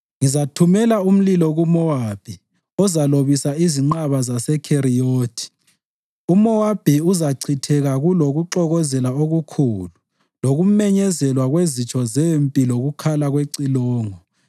ngizathumela umlilo kuMowabi ozalobisa izinqaba zaseKheriyothi. UMowabi uzachitheka kulokuxokozela okukhulu lokumenyezelwa kwezitsho zempi lokukhala kwecilongo.